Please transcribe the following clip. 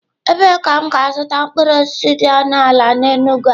Ebee ka m ga-azụta mkpụrụ osisi dị ọnụ ala n'Enugwu a?